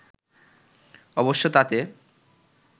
অবশ্য তাতে